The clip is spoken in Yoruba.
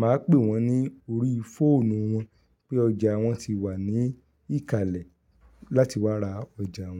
máa ń pè wọ́n ní orí fóònù wọn pé ọjà wọn ti wà ní ìkàlẹ̀ láti wá ra ọjà wọn.